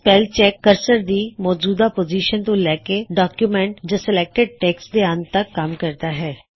spell check cursor ਦੀ ਸੌਜੂਦਾ position ਤੋ ਲੈ ਕੇ ਡੌਕਯੂਮੈਂਟ ਜਾਂ ਸੇਲੇਕਟਿਡ ਟੈਕ੍ਸਟ ਦੇ ਅੰਤ ਤੱਕ ਕੱਮ ਕਰਦਾ ਹੈ